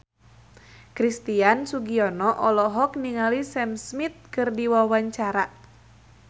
Christian Sugiono olohok ningali Sam Smith keur diwawancara